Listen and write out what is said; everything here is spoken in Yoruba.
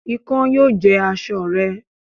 Ikán yóò jẹ aṣọ rẹ